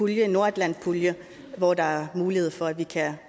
en nordatlantpulje hvor der er mulighed for at vi kan